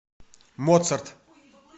моцарт